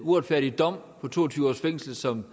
uretfærdige dom på to og tyve års fængsel som